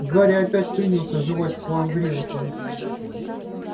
гарри опять принялся жевать свою гренку